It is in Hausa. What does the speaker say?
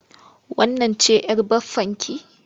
Wannan ce'yar baffanki?